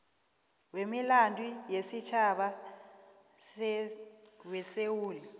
wemilando yesitjhaba wesewula